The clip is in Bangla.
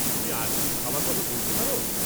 তুমি আর কিছু খাওয়ার কথা বলতে পার?